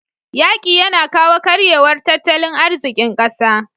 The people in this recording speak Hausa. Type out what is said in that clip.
yaƙi yAna kawo karyewar tattalin azikin ƙasa